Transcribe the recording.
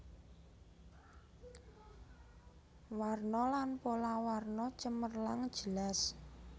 Warna lan pola warna cemerlang jelas